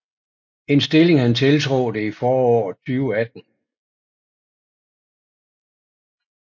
En stilling han tiltrådte i foråret 2018